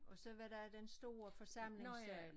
Og så var der den store forsamlingssal